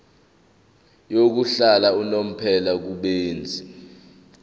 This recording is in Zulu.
yokuhlala unomphela kubenzi